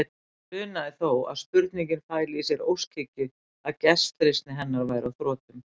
Hann grunaði þó að spurningin fæli í sér óskhyggju, að gestrisni hennar væri á þrotum.